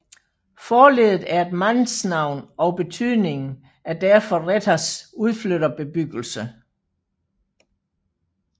Forleddet er et mandsnavn og betydningen er derfor Rethers udflytterbebyggelse